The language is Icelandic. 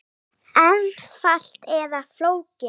Einfalt eða flókið?